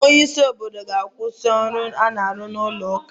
Onye isi obodo ọ ga-akwụsị ọrụ a na-arụ n'ụlọ ụka ahụ?